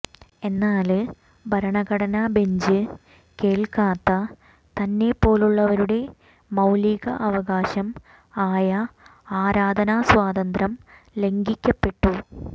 എന്നാല് ഭരണഘടന ബെഞ്ച് കേള്ക്കാത്ത തന്നെ പോലുള്ളവരുടെ മൌലിക അവകാശം ആയ ആരാധന സ്വാതന്ത്ര്യം ലംഘിക്കപ്പെട്ടു